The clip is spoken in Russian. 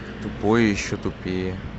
тупой и еще тупее